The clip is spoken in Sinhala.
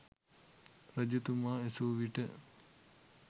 රජතුමා ඇසූවිට